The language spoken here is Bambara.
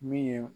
Min ye